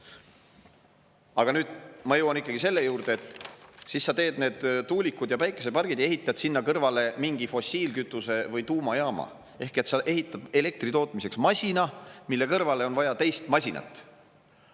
Aga nüüd ma jõuan ikkagi selle juurde, et siis sa teed tuulikud ja päikesepargid ja ehitad sinna kõrvale mingi fossiilkütuse‑ või tuumajaama ehk ehitad elektri tootmiseks masina, mille kõrvale on vaja teist masinat.